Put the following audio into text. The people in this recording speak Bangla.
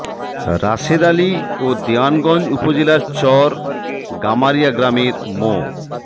রাশেদ আলী ও দেওয়ানগঞ্জ উপজেলার চর গামারিয়া গ্রামের মো